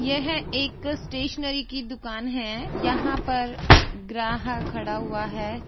यह एक स्टेशनरी की दुकान है यहाँ पर ग्राहक खड़ा हुआ हैं।